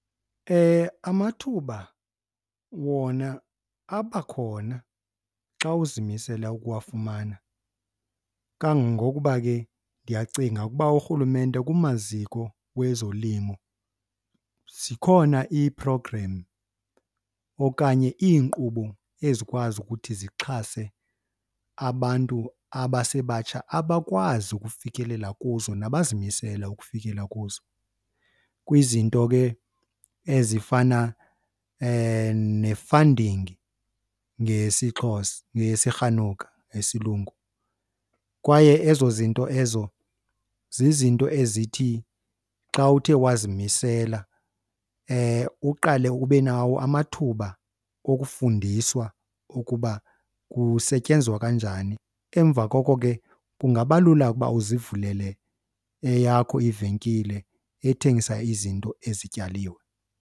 Amathuba wona abakhona xa uzimisele ukuwafumana. Kangangokuba ke ndiyacinga ukuba urhulumente kumaziko wezolimo zikhona ii-program okanye iinkqubo ezikwazi ukuthi zixhase abantu abasebatsha abakwazi ukufikelela kuzo nabazimisele ukufikela kuzo kwizinto ke ezifana ne-funding ngesiXhosa, ngesirhanuka isilungu. Kwaye ezo zinto ezo zizinto ezithi xa uthe wazimisela uqale ube nawo amathuba okufundiswa ukuba kusetyenzwa kanjani. Emva koko ke kungaba lula ukuba uzivulele eyakho ivenkile ethengisa izinto ezityaliwe.